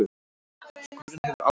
Skúrinn hefur alveg sloppið?